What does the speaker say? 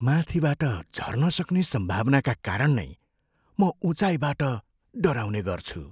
माथिबाट झर्न सक्ने सम्भावनाका कारण नै म उचाईँबाट डराउने गर्छु।